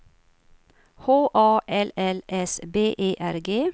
H A L L S B E R G